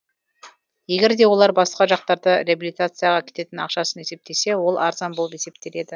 егер де олар басқа жақтарда реабилитацияға кететін ақшасын есептесе ол арзан болып есептеледі